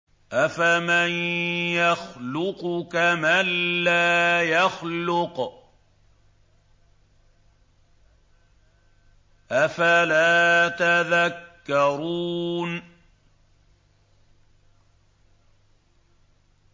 أَفَمَن يَخْلُقُ كَمَن لَّا يَخْلُقُ ۗ أَفَلَا تَذَكَّرُونَ